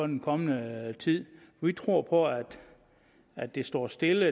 den kommende tid vi tror på at det står stille